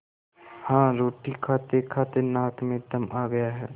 हाँ रोटी खातेखाते नाक में दम आ गया है